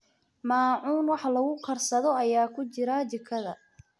Maacuun wax lagu karsado ayaa ku jira jikada.